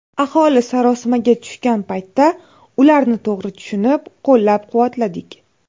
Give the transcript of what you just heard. Aholi sarosimaga tushgan paytda ularni to‘g‘ri tushunib, qo‘llab-quvvatladik.